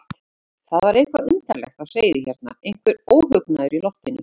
Það var eitthvað undarlegt á seyði hérna, einhver óhugnaður í loftinu.